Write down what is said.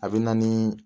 A bɛ na ni